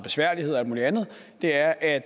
besværligheder og alt muligt andet er at